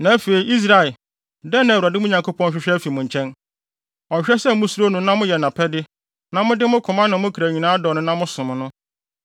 Na afei, Israel, dɛn na Awurade, mo Nyankopɔn, hwehwɛ afi mo nkyɛn? Ɔhwehwɛ sɛ musuro no na moyɛ nʼapɛde, na mode mo koma ne mo kra nyinaa dɔ no na mosom no,